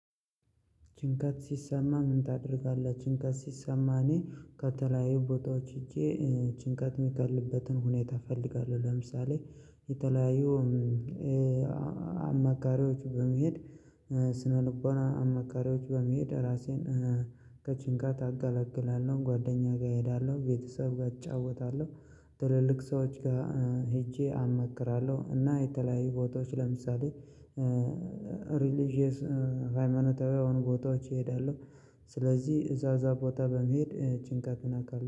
ጭንቀት ሲሰማ ምን ታደርጋለህ? ጭንቀት ሲሰማ እኔ ከተለየ ቦታዎች ሀጄ ጭንቀት የሚቀልበትን ሁኔታ እፈልጋለሁ ለምሳሌ የተለያዩ አማካሪዎች በመሄድ ስነልቦና አማካሪዎች በመሄድ ራሴን ከጭንቀት አገለግላለሁ ጓደኛ ጋር እሄዳለሁ ቤተሰብ ጋር እጫወታለሁ ትልልቅ ሰዎች ጋር ሄጄ አማክራለሁ እና የተለያዩ ቦታዎች ለምሳሌ ሪሊጅየስ ሃይማኖታዊ የሆኑ ቦታዎች እሄዳለሁ ስለዚህ እዛዛ ቦታ በመሄድ ጭንቀትን አውቃለሁ